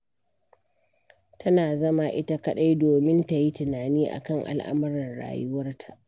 Tana zama ita kaɗai domin ta yi tunani a kan al'amuran rayuwarta.